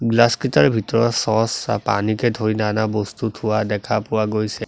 Glass কিতাৰ ভিতৰত চ'চ পানীকে ধৰি নানা বস্তু থোৱা দেখা পোৱা গৈছে।